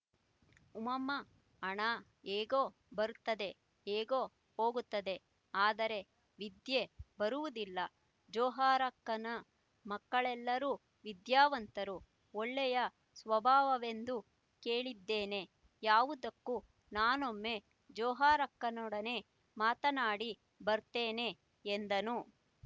ಉಮ್ಮಾ ಹಣ ಹೇಗೊ ಬರ್ತದೆ ಹೇಗೊ ಹೋಗ್ತದೆ ಆದರೆ ವಿದ್ಯೆ ಬರುವುದಿಲ್ಲ ಜೋಹರಕ್ಕನ ಮಕ್ಕಳೆಲ್ಲರೂ ವಿದ್ಯಾವಂತರು ಒಳ್ಳೆಯ ಸ್ವಭಾವವೆಂದೂ ಕೇಳಿದ್ದೇನೆ ಯಾವುದಕ್ಕೂ ನಾನೊಮ್ಮೆ ಜೊಹರಕ್ಕನೊಡನೆ ಮಾತನಾಡಿ ಬರ್ತೇನೆ ಎಂದನು